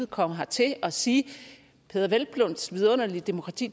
komme hertil og sige peder hvelplunds vidunderlige demokrati